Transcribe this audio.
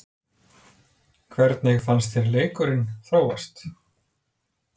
Hvernig fannst þér leikurinn þróast?